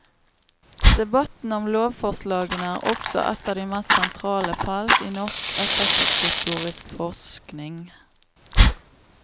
Debatten om lovforslagene er også ett av de mest sentrale felt i norsk etterkrigshistorisk forskning.